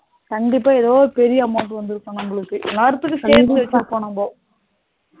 கண்டிப்பா ஏதோ பெரிய amount வந்து இருக்கும் நமளுக்கு இந்நேரத்துக்கு சேர்த்து வைத்திருப்போம் நாம